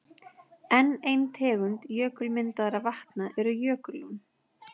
Enn ein tegund jökulmyndaðra vatna eru jökullón.